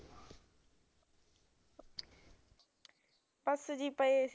ਬਸ ਸੀ ਜੀ ਪਏ ਸੀ